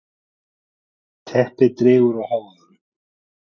Teppið dregur úr hávaðanum.